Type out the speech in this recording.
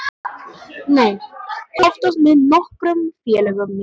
Nei, oftast með nokkrum félögum mínum.